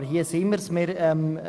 Aber hier ist es der Fall.